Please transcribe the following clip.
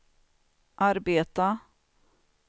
arbeta